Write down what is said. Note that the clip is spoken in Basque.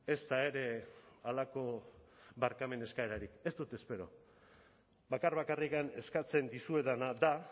ezta ere halako barkamen eskaerarik ez dut espero bakar bakarrik eskatzen dizuedana da